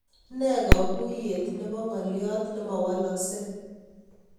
Ne koguyet nebo ngoliot nemowoloksei